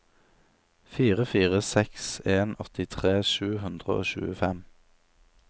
fire fire seks en åttitre sju hundre og tjuefem